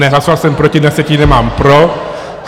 Ne - hlasoval jsem proti, na sjetině mám pro.